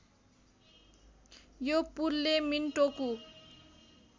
यो पुलले मिनटोकु